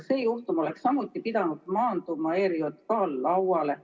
See juhtum oleks samuti pidanud maanduma ERJK lauale.